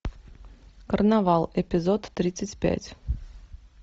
карнавал эпизод тридцать пять